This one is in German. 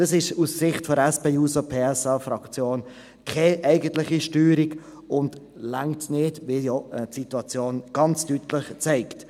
Dies ist aus Sicht der SP-JUSO-PSA-Fraktion keine eigentliche Steuerung und reicht nicht, wie ja die Situation ganz deutlich zeigt.